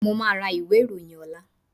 Mo máa ra ìwé ìròyìn ọ̀la